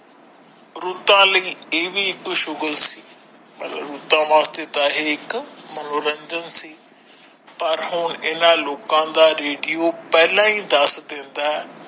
ਰੁੱਤਾਂ ਲਈ ਇਹ ਵੀ ਇੱਕ ਸ਼ੁਗਰ ਸੀ ਪਰ ਰੁੱਤਾਂ ਵਾਸਤੇ ਤਾ ਇਹ ਇੱਕ ਮਨੋਰੰਜਨ ਸੀ ਪਰ ਹੋਣ ਇਹਨਾਂ ਲੋਕ ਦਾ ਰੇਡੀਓ ਪਹਿਲਾ ਹੀ ਦੱਸ ਦਿੰਦਾ ਹੈ।